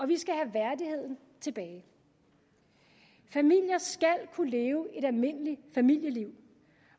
vi skal have værdigheden tilbage familier skal kunne leve et almindeligt familieliv